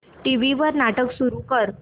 TV वर नाटक सुरू कर